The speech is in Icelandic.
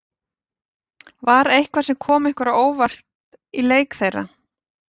Var eitthvað sem kom ykkur á óvart í leik þeirra?